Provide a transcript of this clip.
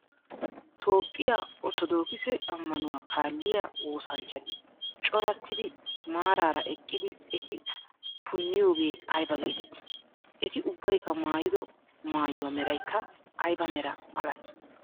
Toophphiyaa orttodookisee ammanuwaa kaaliyaa woosanchati coratiddi maarara eqqidi eti puniyooge ayba geetetii? Eti ubbaykka maayido maayuwaa meraykka ayba mera malatii?